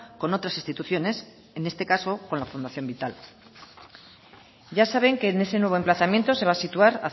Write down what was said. con otras instituciones en este caso con la fundación vital ya saben que en ese nuevo emplazamiento se va a situar